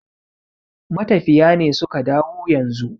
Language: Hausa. matafiya ne suka dawo yanzu